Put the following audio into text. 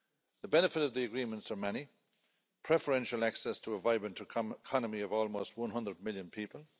The benefits of the agreements are many preferential access to a vibrant economy of almost 100 million people